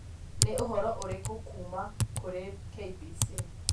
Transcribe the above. Nĩ ũhoro ũrĩkũ kuuma kũrĩ KBC